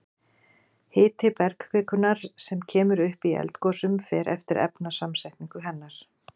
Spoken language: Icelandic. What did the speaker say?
Hiti bergkvikunnar sem kemur upp í eldgosum fer eftir efnasamsetningu hennar.